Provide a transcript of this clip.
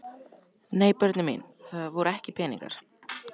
Nei börnin mín, það voru ekki peningar.